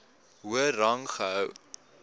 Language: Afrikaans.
hoër rang gehou